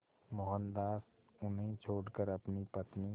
मोहनदास उन्हें छोड़कर अपनी पत्नी